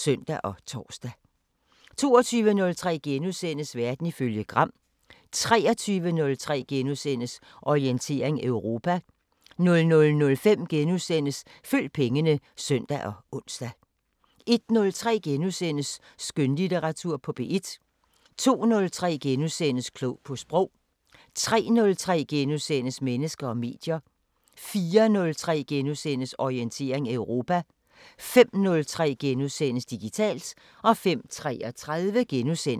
22:03: Verden ifølge Gram * 23:03: Orientering Europa * 00:05: Følg pengene *(søn og ons) 01:03: Skønlitteratur på P1 * 02:03: Klog på Sprog * 03:03: Mennesker og medier * 04:03: Orientering Europa * 05:03: Digitalt * 05:33: Baglandet *